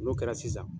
N'o kɛra sisan